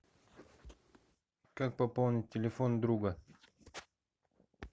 как пополнить телефон друга